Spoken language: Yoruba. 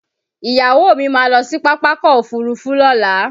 Ìyàwó mi máa lọ sí Pápákọ̀ Òfurufú Lọ́la